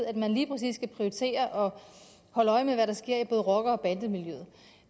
at man lige præcis skal prioritere og holde øje med hvad der sker i både rocker og bandemiljøet